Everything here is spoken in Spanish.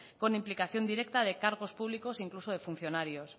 con implicación directa de cargos públicos e incluso de funcionarios